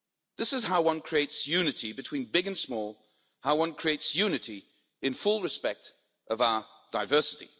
This is how one creates unity between big and small, how one creates unity in full respect of our diversity.